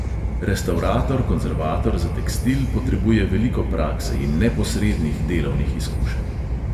Restavrator konzervator za tekstil potrebuje veliko prakse in neposrednih delovnih izkušenj.